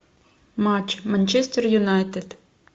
матч манчестер юнайтед